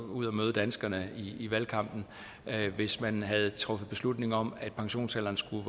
ud og møde danskerne i valgkampen hvis man havde truffet beslutning om at pensionsalderen skulle